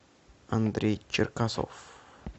андрей черкасов